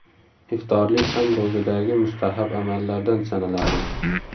Iftorlik ham ro‘zadagi mustahab amallardan sanaladi.